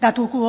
datu